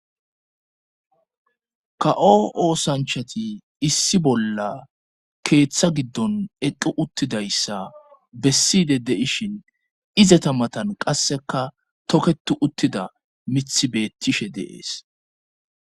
ka7o oosanchati issi bolla keeththa giddon equ uttidayssa besside deishin izeta matan qasseka toketu uttida mith beettishe deees